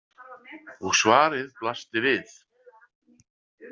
Og svarið blasti við.